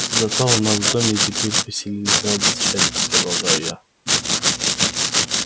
зато у нас в доме теперь поселились радость и счастье продолжаю я